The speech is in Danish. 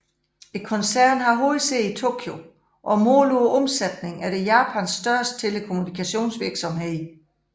Koncernen har hovedsæde i Tokyo og målt på omsætning er det Japans største telekommunikationsvirksomhed